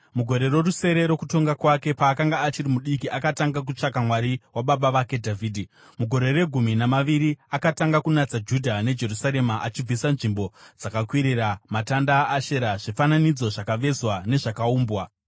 Mugore rorusere rokutonga kwake, paakanga achiri mudiki akatanga kutsvaka Mwari wababa vake Dhavhidhi. Mugore regumi namaviri akatanga kunatsa Judha neJerusarema achibvisa nzvimbo dzakakwirira, matanda aAshera, zvifananidzo zvakavezwa nezvakaumbwa.